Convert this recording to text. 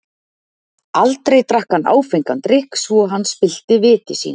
Aldrei drakk hann áfengan drykk, svo að hann spillti viti sínu.